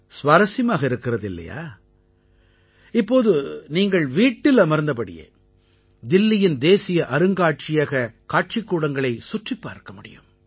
சுவாரசியமாக இருக்கிறது இல்லையா இப்போது நீங்கள் வீட்டில் அமர்ந்தபடியே தில்லியின் தேசிய அருங்காட்சியகக் காட்சிக்கூடங்களைச் சுற்றிப் பார்க்க முடியும்